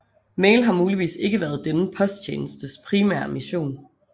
Mail har muligvis ikke været denne posttjenestes primære mission